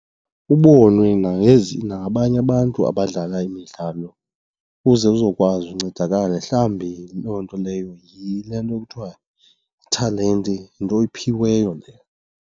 Ubonwe nangabanye abantu abadlala imidlalo ukuze uzokwazi uncedakale. Mhlawumbi loo nto leyo yile nto kuthiwa yithalente, yinto oyiphiweyo leyo.